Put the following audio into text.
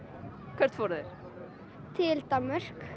hvert fóru þeir til Danmörk